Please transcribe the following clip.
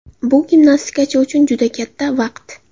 Bu gimnastikachi uchun juda katta vaqt.